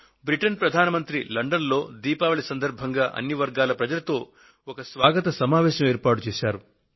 Britain ప్రధాని Theresa May London లో దీపావళి సందర్భంగా అన్ని వర్గాల ప్రజలతో ఒక స్వాగత సమావేశాన్ని ఏర్పాటు చేశారు